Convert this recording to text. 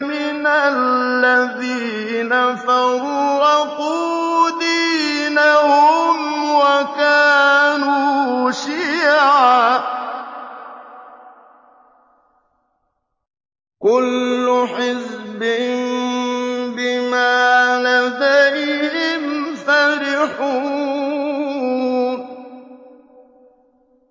مِنَ الَّذِينَ فَرَّقُوا دِينَهُمْ وَكَانُوا شِيَعًا ۖ كُلُّ حِزْبٍ بِمَا لَدَيْهِمْ فَرِحُونَ